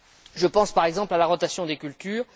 Je pense par exemple à la rotation des cultures.